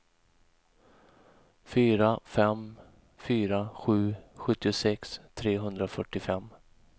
fyra fem fyra sju sjuttiosex trehundrafyrtiofem